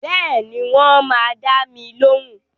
Bẹ́ẹ̀ni, wọ́n máa dá mi lóhùn